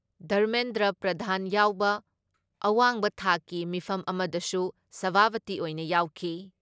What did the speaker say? ꯙꯔꯃꯦꯟꯗ꯭ꯔ ꯄ꯭ꯔꯙꯥꯟ ꯌꯥꯎꯕ ꯑꯋꯥꯡꯕ ꯊꯥꯛꯀꯤ ꯃꯤꯐꯝ ꯑꯃꯗꯁꯨ ꯁꯚꯥꯄꯇꯤ ꯑꯣꯏꯅ ꯌꯥꯎꯈꯤ ꯫